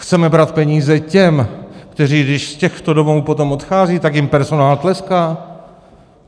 Chceme brát peníze těm, kteří když z těchto domovů potom odcházejí, tak jim personál tleská?